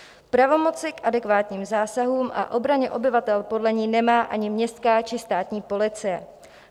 Pravomoci k adekvátním zásahům a obraně obyvatel podle ní nemá ani městská či státní policie.